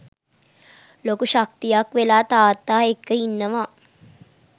ලොකු ශක්තියක් වෙලා තාත්තා එක්ක ඉන්නවා.